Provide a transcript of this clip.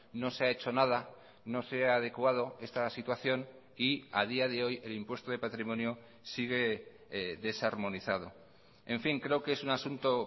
no se ha hecho nada no se ha adecuado esta situación y a día de hoy el impuesto de patrimonio sigue desarmonizado en fin creo que es un asunto